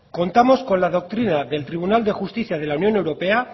contamos con la doctrina del tribunal de justicia de la unión europea